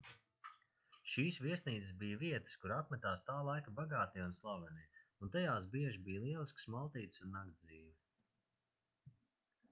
šīs viesnīcas bija vietas kur apmetās tā laika bagātie un slavenie un tajās bieži bija lieliskas maltītes un naktsdzīve